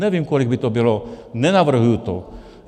Nevím, kolik by to bylo, nenavrhuji to.